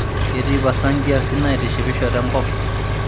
ketii pasa imkiasin naitishipisho tenakop